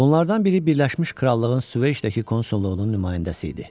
Bunlardan biri Birləşmiş Krallığın Süveyşdəki konsulluğunun nümayəndəsi idi.